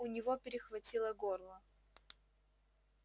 у него перехватило горло